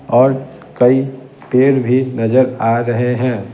और कई पेड़ भी नजर आ रहे हैं।